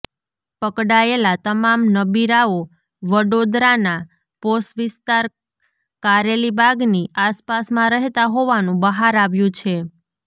પકડાયેલા તમામ નબીરાઓ વડોદરાના પોશ વિસ્તાર કારેલીબાગની આસપાસમાં રહેતા હોવાનું બહાર આવ્યું છે